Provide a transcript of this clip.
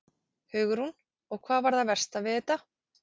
Hugrún: Og hvað var það versta við þetta?